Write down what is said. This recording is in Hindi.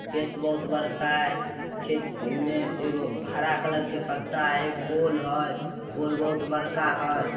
खेत बहुत बड़का हेय खेत में एगो हरा कलर के पत्ता हेय एक पोल हेयपोल बहुत बड़का हेय।